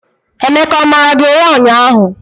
Emeka o mara gị ụra ụnyahụ?